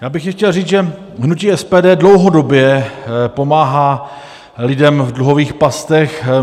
Já bych chtěl říct, že hnutí SPD dlouhodobě pomáhá lidem v dluhových pastech.